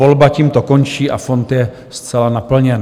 Volba tímto končí a fond je zcela naplněn.